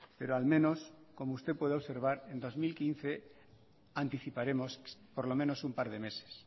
pero al menos como usted puede observar en dos mil quince anticiparemos por lo menos un par de meses